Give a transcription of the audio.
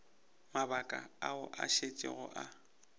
mabaka ao a šetšego a